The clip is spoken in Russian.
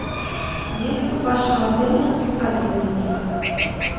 есть ли в вашем отеле развлекательный тир